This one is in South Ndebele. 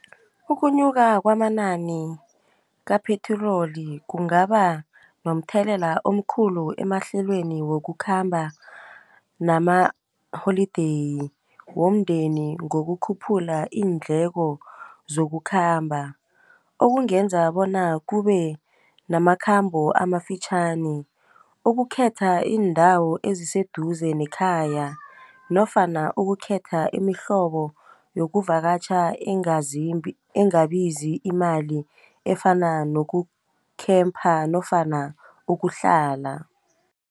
Ukunyuka kwamanani kaphetroli kungaba nomthelela omkhulu emahlelweni wokukhamba nama-holiday womndeni ngokukhuphula iindleko zokukhamba, okungenza bona kubenamakhambo amafitjhani, ukukhetha indawo eziseduze nekhaya nofana ukukhetha imihlobo yokuvakatjha engabizi imali efana noku-camper nofana ukuhlala.